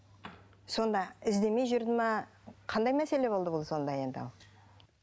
сонда іздемей жүрді ме қандай мәселе болды бұл сонда енді ал